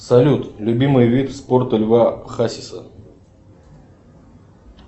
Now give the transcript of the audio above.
салют любимый вид спорта льва хасиса